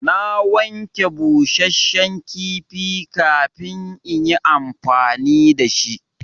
Na wanke busashen kifi kafin in yi amfani da shi.